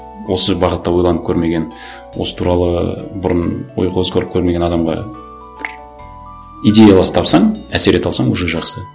осы бағытта ойланып көрмеген осы туралы бұрын ой қозғап көрмеген адамға бір идеялас тапсаң әсер ете алсаң уже жақсы